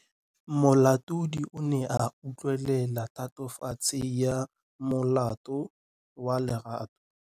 Moatlhodi o ne a utlwelela tatofatsô ya molato wa Lerato.